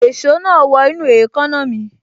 Èso náà wọ inú èékánná mi